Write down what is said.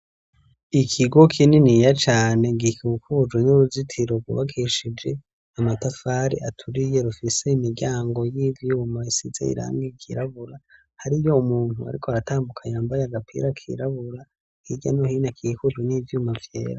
Ikigo kininiya cane gikikuje n'uruzitiro rwubakishije amatafari aturiye rufise imiryango y'ivyuma isize irangi ryirabura hariyo umuntu ariko aratambuka yambaye agapira kirabura hirya no hino hakikujwe n'ivyuma vyera.